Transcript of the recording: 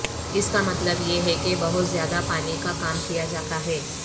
اس کا مطلب یہ ہے کہ بہت زیادہ پانی کا کام کیا جاتا ہے